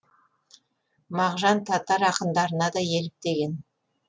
мағжан татар ақындарына да еліктеген